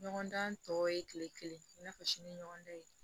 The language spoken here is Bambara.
Ɲɔgɔndan tɔ ye kile kelen i n'a fɔ sini ɲɔgɔn dan ye